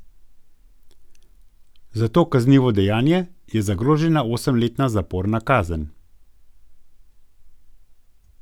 Za to kaznivo dejanje je zagrožena osemletna zaporna kazen.